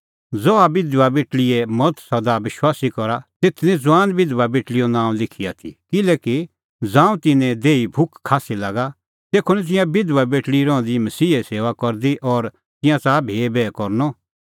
ज़हा बिधबा बेटल़ीए मज़त सदा विश्वासी करा तेथ निं ज़ुआन बिधबा बेटल़ीए नांअ लिखी आथी किल्हैकि ज़ांऊं तिन्नें देहीए भुख खास्सी लागा तेखअ निं तिंयां बिधबा बेटल़ी रहंदी मसीहे सेऊआ करदी और तिंयां च़ाहा भी बैह करनअ